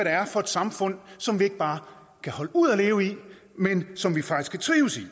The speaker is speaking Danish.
er for et samfund som vi ikke bare kan holde ud at leve i men som vi faktisk kan trives i